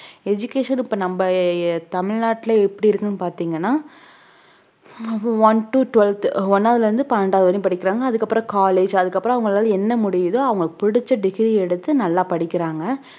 education இப்ப நம்ம அஹ் தமிழ்நாட்டில எப்படி இருக்குன்னு பாத்தீங்கன்னா one to twelfth ஒண்ணாவதுல இருந்து பன்னெண்டாவது வரையும் படிச்சாங்க அதுக்கப்புறம் college அதுக்கப்புறம் அவங்களால என்ன முடியுதோ அவங்களுக்கு புடிச்ச degree எடுத்து நல்லா படிக்கிறாங்க